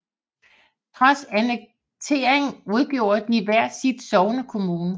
Trods annekteringen udgjorde de hver sin sognekommune